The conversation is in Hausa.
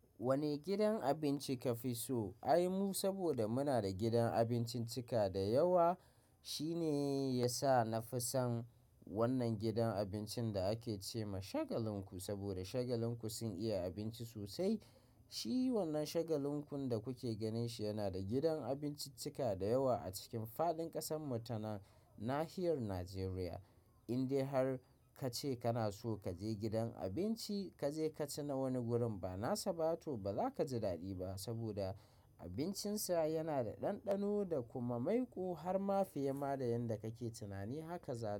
Wane gidan abinci ka fi so? Ai mu saboda muna da gidan abinciccika da yawa. Shi ne ya sa na fi son wannan gidan abincin da ake ce ma Shagalinku. Saboda Shagalinku sun iya abinci sosai. Shi wannan Shagalinkun da kuke ganin shi yana da gidan abinciccika da yawa a cikin fadin ƙasan mu ta Nahiyar Najeriya. Indai har ka ce kana so ka je gidan abinci, ka je ka ci na wani gurin, ba nasa ba to ba za ka ji daɗi ba saboda abincinsa yana da ɗanɗano da kuma maiƙo har ma fiye ma da yadda kake tunani haka za ta.